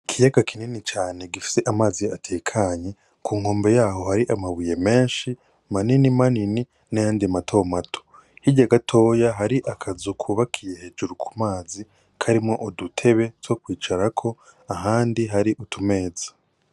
Ikiyaga kinini cane gifise amazi atekanye, k'unkombe yaho hari amabuye menshi manini manini n'ayandi mato mato. Hirya gatoya hari akazu kubakiye hejuru k'umazi karimwo udutebe two kwicarako ahandi hari utumeza.